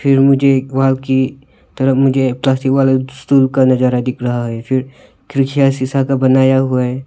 फिर मुझे एक वॉल की तरफ मुझे का नजारा रहा है फिर खिड़कियां शीशा का बनाया हुआ है।